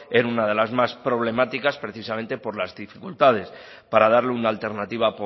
en una de las más problemáticas precisamente por las dificultades para darle una alternativa